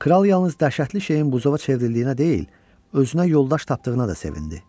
Kral yalnız dəhşətli şeyin buzova çevrildiyinə deyil, özünə yoldaş tapdığına da sevindi.